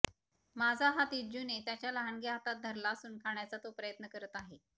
माझा हात इज्जूने त्याच्या लहानग्या हातात धरला असून खाण्याचा तो प्रयत्न करत आहे